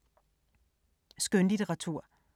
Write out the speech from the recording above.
Skønlitteratur